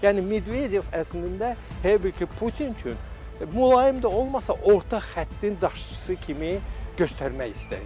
Yəni Medvedev əslində elə bil ki, Putin üçün mülayim də olmasa, orta xəttin daşıyıcısı kimi göstərmək istəyirlər.